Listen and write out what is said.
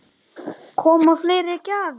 Gísli: Koma fleiri gjafir?